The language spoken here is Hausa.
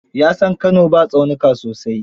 Ya san Kano ba tsaunuka sosai.